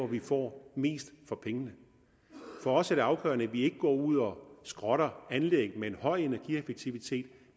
vi får mest for pengene for os er det afgørende at vi ikke går ud og skrotter anlæg med en høj energieffektivitet